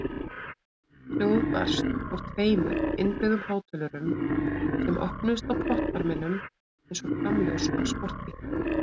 Hljóð barst úr tveimur innbyggðum hátölurum sem opnuðust á pottbarminum eins og framljós á sportbíl.